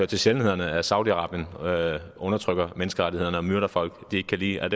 til sjældenhederne at saudi arabien undertrykker menneskerettighederne og myrder folk de ikke kan lide